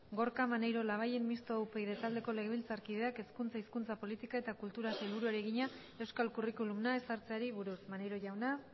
gorka maneiro labayen mistoa upyd taldeko legebiltzarkideak hezkuntza hizkuntza politika eta kulturako sailburuari egina euskal curriculuma ezartzeri buruz maneiro jauna